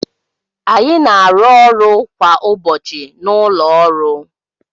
Anyị na-arụ ọrụ kwa ụbọchị na ụlọ ọrụ